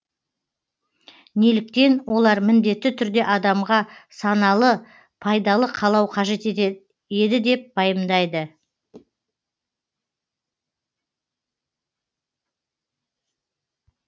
неліктен олар міндетті түрде адамға саналы пайдалы қалау қажет еді деп пайымдайды